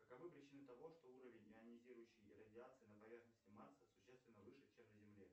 каковы причины того что уровень ионизирующей радиации на поверхности марса существенно выше чем на земле